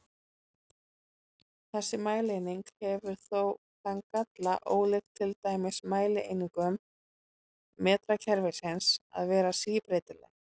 Þessi mælieining hefur þó þann galla, ólíkt til dæmis mælieiningum metrakerfisins, að vera síbreytileg.